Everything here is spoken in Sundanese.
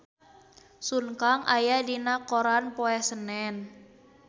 Sun Kang aya dina koran poe Senen